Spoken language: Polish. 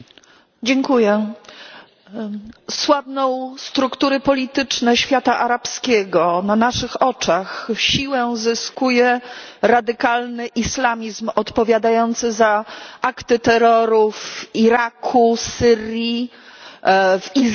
Słabną struktury polityczne świata arabskiego, na naszych oczach siłę zyskuje radykalny islamizm odpowiadający za akty terroru w Iraku, Syrii, w Izraelu, Libanie, Libii,